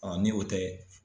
ni o tɛ